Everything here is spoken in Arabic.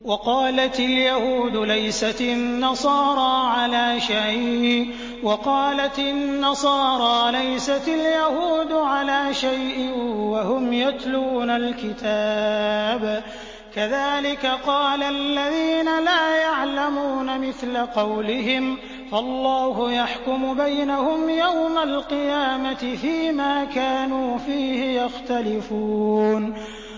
وَقَالَتِ الْيَهُودُ لَيْسَتِ النَّصَارَىٰ عَلَىٰ شَيْءٍ وَقَالَتِ النَّصَارَىٰ لَيْسَتِ الْيَهُودُ عَلَىٰ شَيْءٍ وَهُمْ يَتْلُونَ الْكِتَابَ ۗ كَذَٰلِكَ قَالَ الَّذِينَ لَا يَعْلَمُونَ مِثْلَ قَوْلِهِمْ ۚ فَاللَّهُ يَحْكُمُ بَيْنَهُمْ يَوْمَ الْقِيَامَةِ فِيمَا كَانُوا فِيهِ يَخْتَلِفُونَ